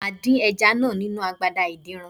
Màá dín ẹja náà nínu agbada adínran.